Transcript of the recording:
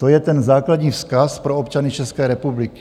To je ten základní vzkaz pro občany České republiky.